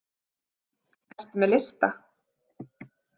Ertu með lista?